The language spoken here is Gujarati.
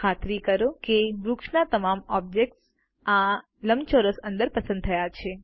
ખાતરી કરો કે વૃક્ષના તમામ ઓબ્જેક્ટ્સ આ લંબચોરસ અંદર પસંદ થયા છે